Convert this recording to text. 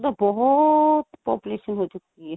ਬਹੁਤ population ਹੋ ਚੁੱਕੀ ਏ.